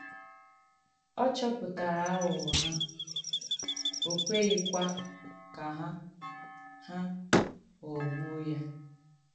Ọ̀ chọ̀pụ̀tàrà àghụ̀ghọ̀ hà, ò kwèghìkwà ka hà hà ghọ̀gbùo ya.